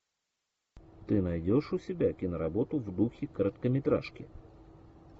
ты найдешь у себя киноработу в духе короткометражки